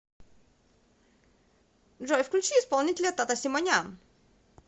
джой включи исполнителя тата симонян